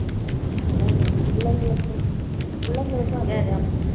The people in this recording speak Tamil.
அஹ் பிள்ளைங்களுக்கும் பிள்ளைங்களுக்கும் அதேதான்